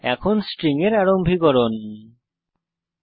এখন স্ট্রিং এর আরম্ভীকরণ নিয়ে আলোচনা করব